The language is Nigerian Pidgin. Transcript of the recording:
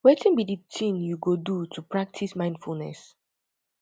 wetin be di thing you go do to practice mindfulness